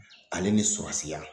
Ale ni sɔrasiya